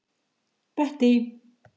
Bettý